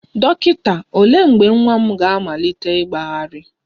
Dọkịta, olee mgbe nwa m ga-amalite ịgbagharị?